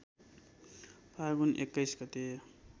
फागुन २१ गते